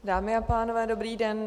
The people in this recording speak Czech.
Dámy a pánové, dobrý den.